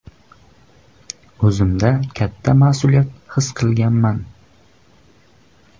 O‘zimda katta mas’uliyat his qilganman.